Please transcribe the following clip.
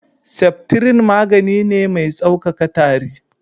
Septrin magani ne mai sauƙaƙa tari.